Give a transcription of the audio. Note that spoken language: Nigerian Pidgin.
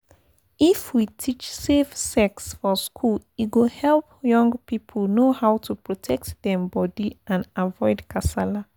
if we teach safe sex for school e go help young people know how to protect dem body and avoid kasala.